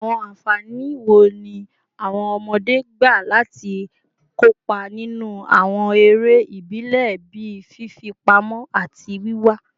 Awọn anfani wo ni awọn ọmọde gba lati kopa ninu awọn ere ibile bii fifipamọ ati wiwa?